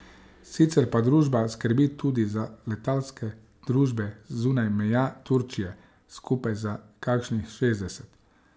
Sicer pa družba skrbi tudi za letalske družbe zunaj meja Turčije, skupaj za kakšnih šestdeset.